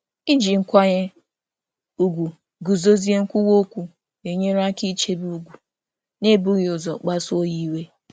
Idozi nkwụsi um ike na ịdị nwayọọ na-enyere aka ichebe ugwu na-enweghị ịkpasu iwe.